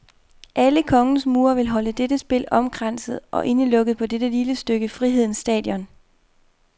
Alene kongens mure vil holde dette spil omkranset og indelukket på det lille stykke frihedens stadion.